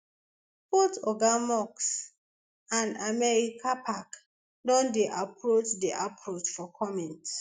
both oga musk and americapac don dey approach dey approach for comment